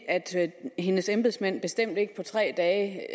at sige at hendes embedsmænd bestemt ikke på tre dage